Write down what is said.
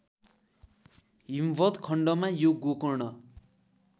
हिमवत्खण्डमा यो गोकर्ण